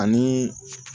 Ani